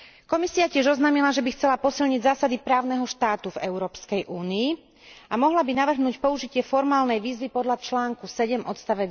Komisia tiež oznámila, že by chcela posilniť zásady právneho štátu v Európskej únii a mohla by navrhnúť použitie formálnej výzvy podľa článku 7 ods.